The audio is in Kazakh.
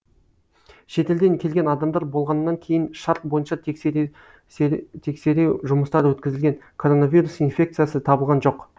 шетелден келген адамдар болғаннан кейін шарт бойынша тексереу жұмыстары өткізілген коронавирус инфекциясы табылған жоқ